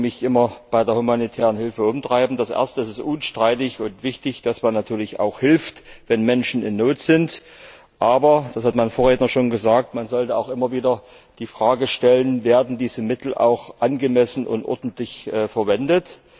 Fragen, die mich immer bei der humanitären Hilfe umtreiben Erstens ist es unstrittig und wichtig, dass man natürlich hilft, wenn Menschen in Not sind, aber das hat mein Vorredner schon gesagt man sollte auch immer wieder die Frage stellen Werden diese Mittel auch angemessen und ordentlich verwendet?